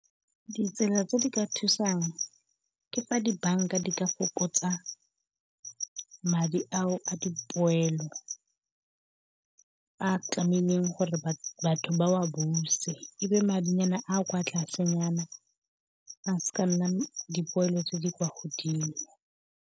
Ditsela tse di ka thusang ke fa di-bank-a di ka fokotsa madi ao a dipoelo, a tlamehileng gore batho ba wa buse. E be madinyana a kwa tlasenyana a se ka nna dipoelo tse di kwa godimo.